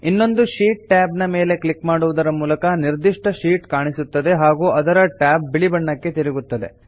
ಇನ್ನೊಂದು sheet tab ಮೇಲೆ click ಮಾಡುವುದರ ಮೂಲಕ ನಿರ್ದಿಷ್ಟ ಶೀಟ್ ಕಾಣಿಸುತ್ತದೆ ಹಾಗೂ ಅದರ ಟ್ಯಾಬ್ ಬಿಳಿ ಬಣ್ಣಕ್ಕೆ ತಿರುಗುತ್ತದೆ